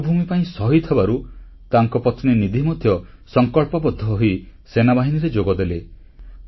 ମାତୃଭୂମି ପାଇଁ ଶହୀଦ ହେବାରୁ ତାଙ୍କ ପତ୍ନୀ ନିଧି ମଧ୍ୟ ସଂକଳ୍ପବଦ୍ଧ ହୋଇ ସେନାବାହିନୀରେ ଯୋଗଦେଲେ